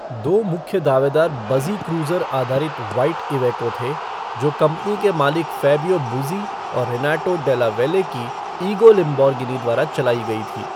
दो मुख्य दावेदार बज़ी क्रूज़र आधारित व्हाइट इवेको थे, जो कंपनी के मालिक फैबियो बुज़ी और रेनाटो डेला वैले की इगो लेम्बोर्गिनी द्वारा चलाई गई थी।